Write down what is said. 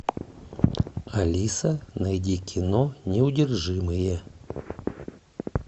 алиса найди кино неудержимые